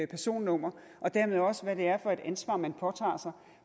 personnummer og dermed også om hvad det er for et ansvar man påtager sig